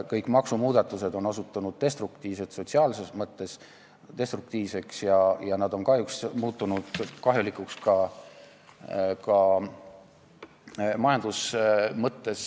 Kõik maksumuudatused on osutunud destruktiivseks, sotsiaalses mõttes destruktiivseks, ja nad on kahjuks muutunud kahjulikuks ka majanduse mõttes.